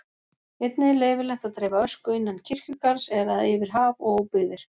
Einnig er leyfilegt að dreifa ösku innan kirkjugarðs eða yfir haf og óbyggðir.